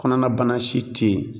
Kɔnɔnabana si te yen